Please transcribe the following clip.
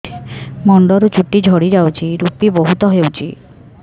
ମୁଣ୍ଡରୁ ଚୁଟି ଝଡି ଯାଉଛି ଋପି ବହୁତ ହେଉଛି